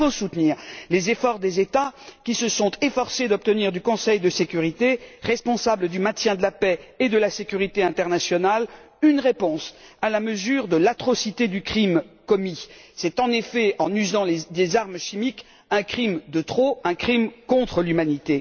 Il faut, en effet, soutenir les efforts des États qui ont essayé d'obtenir du Conseil de sécurité, responsable du maintien de la paix et de la sécurité internationale, une réponse à la mesure de l'atrocité du crime commis, au moyen d'armes chimiques, un crime de trop, un crime contre l'humanité.